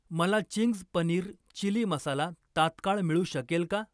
मला Ching's paneer chilli masala तात्काळ मिळू शकेल का?